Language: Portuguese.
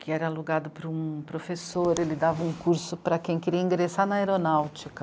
que era alugado por um professor, ele dava um curso para quem queria ingressar na aeronáutica.